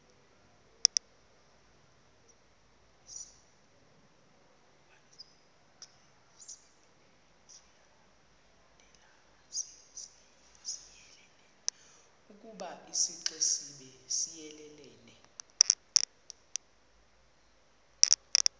ukoba isixesibe siyelelene